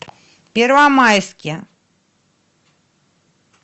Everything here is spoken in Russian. первомайске